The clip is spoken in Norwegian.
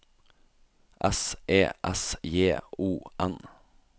S E S J O N